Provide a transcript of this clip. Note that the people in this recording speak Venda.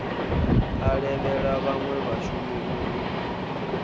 a levhela vhanwe vhashumi uri